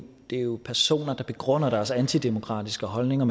er jo personer der begrunder deres antidemokratiske holdninger